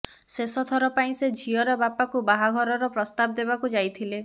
ଶେଷ ଥର ପାଇଁ ସେ ଝିଅର ବାପାକୁ ବାହାଘରର ପ୍ରସ୍ତାବ ଦେବାକୁ ଯାଇଥିଲେ